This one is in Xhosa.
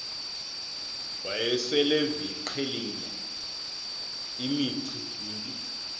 wayeseleviqhelile imici mbi